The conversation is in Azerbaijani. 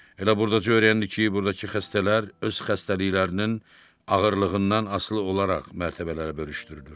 Elə burdaca öyrəndi ki, burdakı xəstələr öz xəstəliklərinin ağırlığından asılı olaraq mərtəbələrə bölüşdürülür.